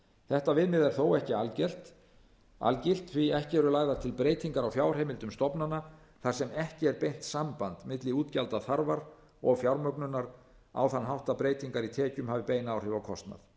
þetta viðmið er þó ekki algilt því ekki eru lagðar til breytingar á fjárheimildum stofnana þar sem ekki er beint samband milli útgjaldaþarfar og fjármögnunar á þann hátt að breytingar í tekjum hafi bein áhrif á kostnað